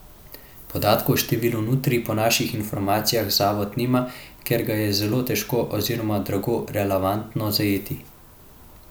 Podatka o številu nutrij po naših informacijah zavod nima, ker ga je zelo težko oziroma drago relevantno zajeti.